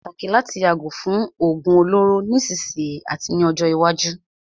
Ó ṣé pàtàkì láti yàgò fún òógún olóró nísìsiyìí àti ní ọjọ́ iwájú.